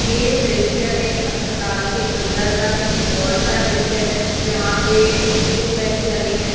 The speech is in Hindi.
ये दृश्य एक अस्पताल का अंदर का किसी वार्ड का दृश्य है जहां पे तीन बेंच लगे हैं।